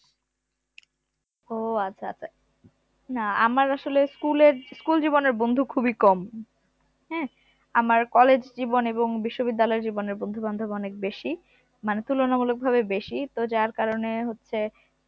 ও আচ্ছা আচ্ছা না আমার আসলে school এর school জীবনের বন্ধু খুবই কম হ্যাঁ আমার college জীবন এবং বিশ্ববিদ্যালয় জীবনের বন্ধু বান্ধব বেশি মানে তুলনামূলক ভাবে বেশি তো যার কারণে হচ্ছে